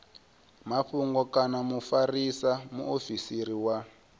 mafhungo kana mufarisa muofisiri wa